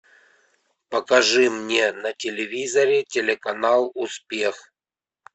покажи мне на телевизоре телеканал успех